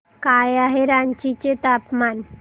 काय आहे रांची चे तापमान